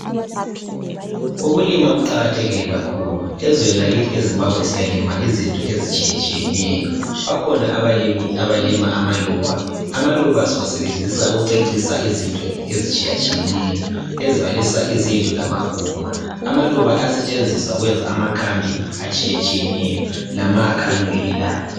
Ukulima kuqakathekile kakhulu. Ezweni lakithi eZimbabwe siyalima izinto ezitshiyetshiyeneyo. Bakhona abalimi abalima amaluba. Amaluba siwasebenzisa ukucecisa izinto ezitshiyetshiyeneyo ezibalisa izindlu lamaguma. Amaluba ayasetshenziswa ukwenza amakhambi atshiyetshiyeneyo lamakha anukelelayo.